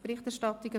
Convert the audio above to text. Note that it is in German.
«Berichterstattung